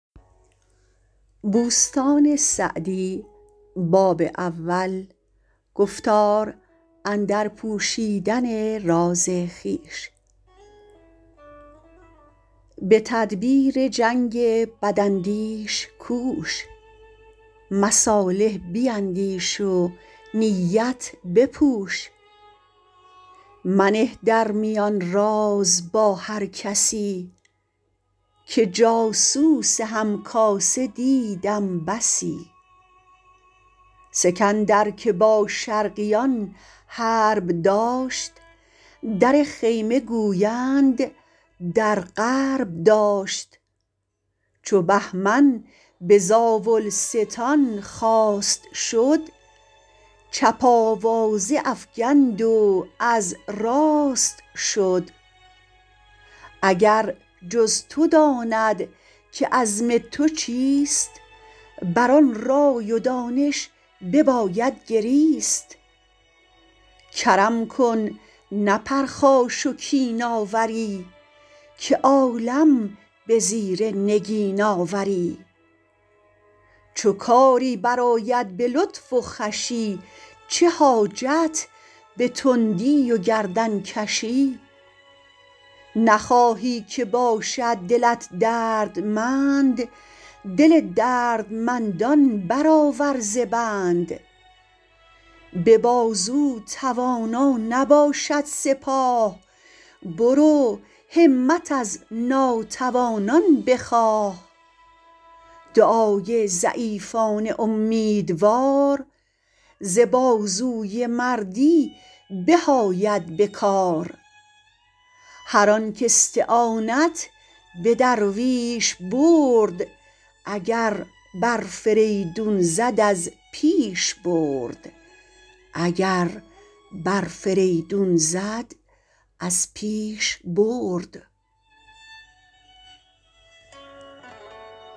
به تدبیر جنگ بد اندیش کوش مصالح بیندیش و نیت بپوش منه در میان راز با هر کسی که جاسوس هم کاسه دیدم بسی سکندر که با شرقیان حرب داشت در خیمه گویند در غرب داشت چو بهمن به زاولستان خواست شد چپ آوازه افکند و از راست شد اگر جز تو داند که عزم تو چیست بر آن رای و دانش بباید گریست کرم کن نه پرخاش و کین آوری که عالم به زیر نگین آوری چو کاری بر آید به لطف و خوشی چه حاجت به تندی و گردن کشی نخواهی که باشد دلت دردمند دل دردمندان بر آور ز بند به بازو توانا نباشد سپاه برو همت از ناتوانان بخواه دعای ضعیفان امیدوار ز بازوی مردی به آید به کار هر آن کاستعانت به درویش برد اگر بر فریدون زد از پیش برد